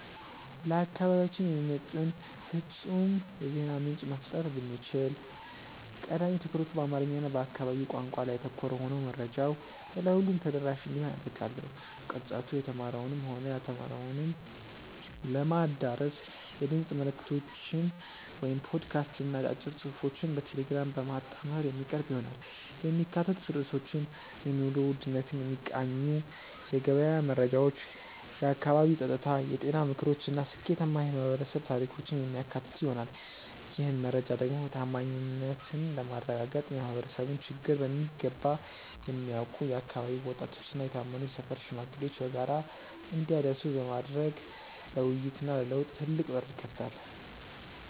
ለአካባቢያችን የሚመጥን ፍጹም የዜና ምንጭ መፍጠር ብችል፣ ቀዳሚ ትኩረቱ በአማርኛ እና በአካባቢው ቋንቋዎች ላይ ያተኮረ ሆኖ መረጃው ለሁሉም ተደራሽ እንዲሆን አደርጋለሁ። ቅርጸቱ የተማረውንም ሆነ ያልተማረውን ለማዳረስ የድምፅ መልዕክቶችን (ፖድካስት) እና አጫጭር ጽሑፎችን በቴሌግራም በማጣመር የሚቀርብ ይሆናል። የሚካተቱት ርዕሶችም የኑሮ ውድነትን የሚቃኙ የገበያ መረጃዎች፣ የአካባቢ ጸጥታ፣ የጤና ምክሮች እና ስኬታማ የማኅበረሰብ ታሪኮችን የሚያካትቱ ይሆናል። ይህን መረጃ ደግሞ ታማኝነትን ለማረጋገጥ የማኅበረሰቡን ችግር በሚገባ የሚያውቁ የአካባቢው ወጣቶችና የታመኑ የሰፈር ሽማግሌዎች በጋራ እንዲያደርሱት ቢደረግ ለውይይትና ለለውጥ ትልቅ በር ይከፍታል።